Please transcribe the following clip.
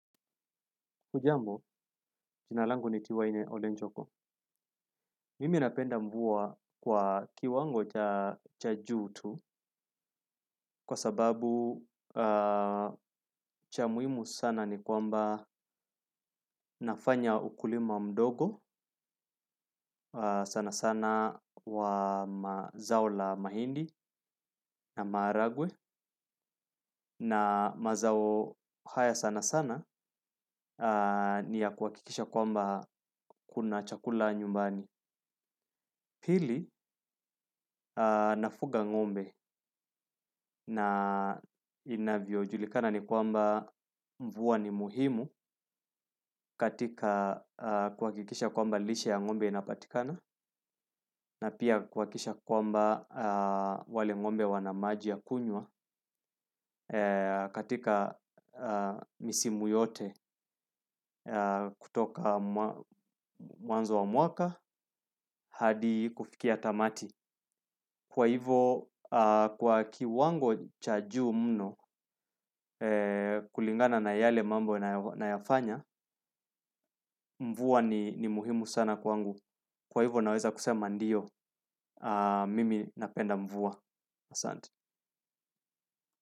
Hujambo, jina langu ni tiwaine olenjoko. Mimi napenda mvua kwa kiwango cha juu tu kwa sababu cha muhimu sana ni kwamba nafanya ukulima mdogo sana sana wa mazao la mahindi na maharagwe na mazao haya sana sana ni ya kuhakikisha kwamba kuna chakula nyumbani. Pili nafuga ng'ombe na inavyojulikana ni kwamba mvua ni muhimu katika kuha kikisha kwamba lishe ya ng'ombe inapatikana na pia kwa kisha kwamba wale ng'ombe wana maji ya kunywa katika misimu yote kutoka mwanzo wa mwaka hadi kufikia tamtu. Kwa hivo, kwa kiwango cha juu mno kulingana na yale mambo na yafanya, mvua ni muhimu sana kwangu. Kwa hivo naweza kusema ndio, mimi napenda mvua asanti.